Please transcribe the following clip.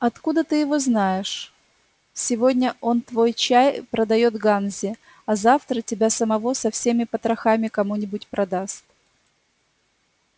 откуда ты его знаешь сегодня он твой чай продаёт ганзе а завтра тебя самого со всеми потрохами кому-нибудь продаст